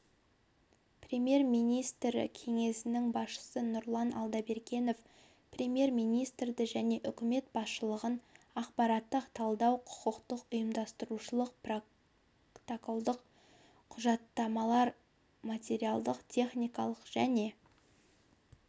премьер-министрі кеңсесінің басшысы нұрлан алдабергенов премьер-министрді және үкімет басшылығын ақпараттық-талдау құқықтық ұйымдастырушылық протоколдық құжаттамалық материалдық-техникалық және